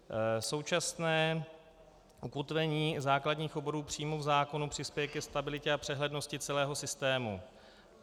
Současné ukotvení základních oborů přímo v zákoně přispěje ke stabilitě a přehlednosti celého systému.